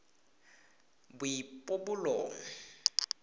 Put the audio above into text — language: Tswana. boipobolo